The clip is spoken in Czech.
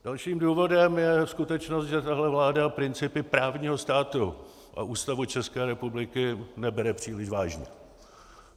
Dalším důvodem je skutečnost, že tahle vláda principy právního státu a Ústavu České republiky nebere příliš vážně.